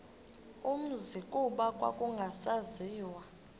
umzi kuba kwakungasaziwa